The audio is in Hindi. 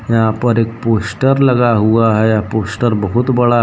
यहां पर एक पोस्टर लगा हुआ है यह पोस्टर बहुत बड़ा है।